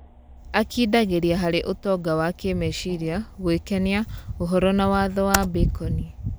Akindagĩria harĩ ũtonga wa kĩmeciria, gũĩkenia, ũhoro na watho wa baconi.